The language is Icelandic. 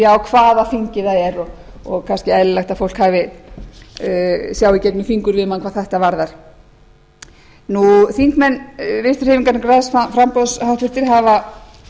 á hvaða þingi það er og kannski eðlilegt að fólk sjái í gegnum fingur við mann hvað þetta varðar háttvirtir þingmenn vinstri hreyfingarinnar græns framboðs hafa